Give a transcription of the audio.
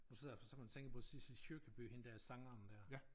Nu sidder jeg for eksempel og tænker på Sissel Kyrkjebø hende der sangeren der